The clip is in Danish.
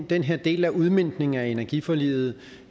den her del af udmøntningen af energiforliget